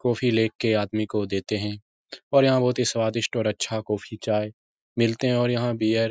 coffee लेके आदमी को देते हैं और यहाँ बहुत स्वादिष्ट और अच्छा कॉफी चाय मिलते हैं और यहाँ बियर --